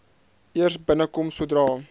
eers binnekom sodra